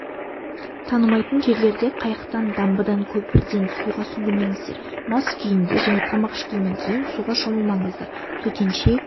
танымайтын жерлерде қайықтан дамбыдан көпірден суға сүңгімеңіздер мас күйінде және тамақ ішкеннен кейін суға шомылмаңыздар төтенше